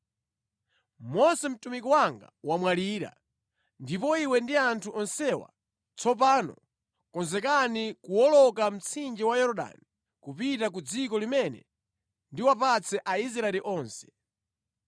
“Mose mtumiki wanga wamwalira. Ndipo iwe ndi anthu onsewa, tsopano konzekani kuwoloka mtsinje wa Yorodani kupita ku dziko limene ndiwapatse Aisraeli onse.